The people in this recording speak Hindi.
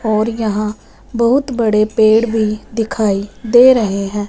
और यहां बहुत बड़े पेड़ भी दिखाई दे रहे हैं।